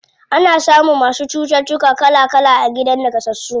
Ana samun masu cututtuka kala kala a gidan naƙasassu.